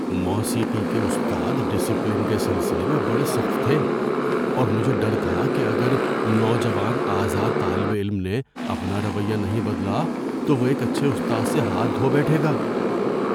موسیقی کے استاد ڈسپلن کے سلسلے میں بڑے سخت تھے، اور مجھے ڈر تھا کہ اگر نوجوان آزاد طالب علم نے اپنا رویہ نہیں بدلا تو وہ ایک اچھے استاد سے ہاتھ دھو بیٹھے گا۔